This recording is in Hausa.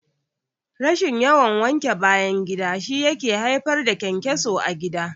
Rashin yawan wanke bayan gida shi yake haifar da ƘyanƘyaso a gida